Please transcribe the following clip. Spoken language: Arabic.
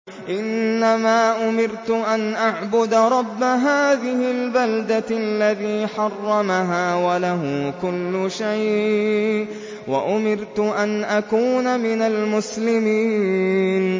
إِنَّمَا أُمِرْتُ أَنْ أَعْبُدَ رَبَّ هَٰذِهِ الْبَلْدَةِ الَّذِي حَرَّمَهَا وَلَهُ كُلُّ شَيْءٍ ۖ وَأُمِرْتُ أَنْ أَكُونَ مِنَ الْمُسْلِمِينَ